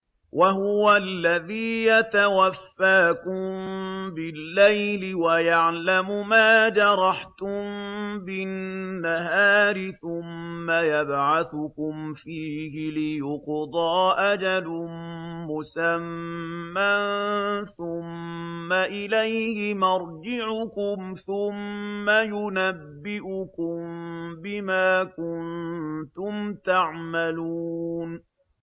وَهُوَ الَّذِي يَتَوَفَّاكُم بِاللَّيْلِ وَيَعْلَمُ مَا جَرَحْتُم بِالنَّهَارِ ثُمَّ يَبْعَثُكُمْ فِيهِ لِيُقْضَىٰ أَجَلٌ مُّسَمًّى ۖ ثُمَّ إِلَيْهِ مَرْجِعُكُمْ ثُمَّ يُنَبِّئُكُم بِمَا كُنتُمْ تَعْمَلُونَ